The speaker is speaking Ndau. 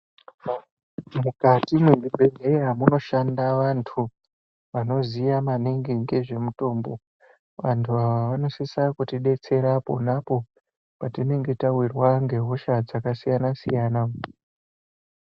Mukati mezvibhedhlera munoshanda vantu vanoziya maningi ngezvemutombo vantu ava vanosisa kutidetsera pona apo patinenge tawirwa nehosha dzakasiyana-siyana.